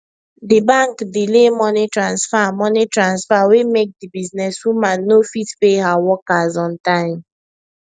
the bank delay money transfer money transfer wey make the businesswoman no fit pay her workers on time